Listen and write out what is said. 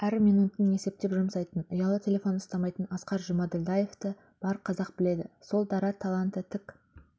әр минутын есеппен жұмсайтын ұялы телефон ұстамайтын асқар жұмаділдаевты бар қазақ біледі сол дара таланты тік